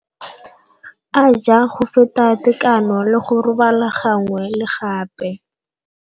A ja go feta tekano le go robala gangwe le gape.